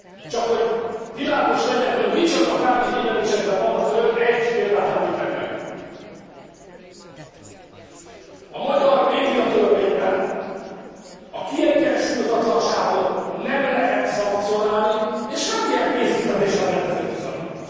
Csak hogy világos legyen, hogy micsoda tárgyi tévedésekben vannak önök, egy példát említek meg a magyar médiatörvényben a kiegyensúlyozatlanságot nem lehet szankcionálni és semmilyen pénzbüntetést nem lehet ezért kiszabni.